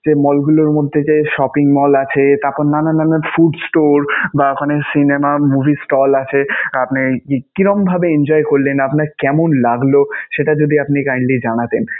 যে mall গুলোর মধ্যে যে shopping mall আছে, তারপর নানান নানান food store বা ওখানে cinema, movie stall আছে. আপনি কিরকম ভাবে enjoy করলেন? আপনার কেমন লাগলো সেটা যদি আপনি kindly জানাতেন.